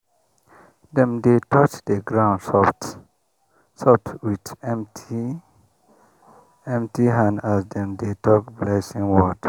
dem dey touch the ground soft-soft with empty with empty hand as dem dey talk blessing word.